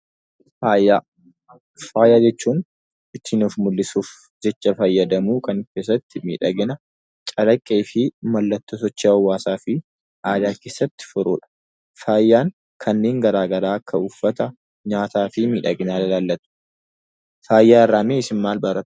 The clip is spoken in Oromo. Faaya: faaya jechuun ittin Of mull'isuuf jecha faayyadaamu kan isaatti miidhagina calaaqeefi maallattoo sochii hawaasafi aadaa keessatti furudha. Faayan kanneen garagaraa kan akka uffaata, nyaataafi miidhagina ilallata. Faaya irraa mee isiin maal barattu?